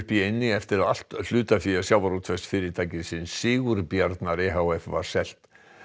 í eynni eftir að allt hlutafé Sigurbjarnar e h f var selt